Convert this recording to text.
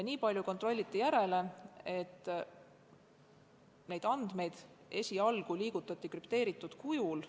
Nii palju kontrolliti, et neid andmeid liigutati esialgu krüpteeritud kujul.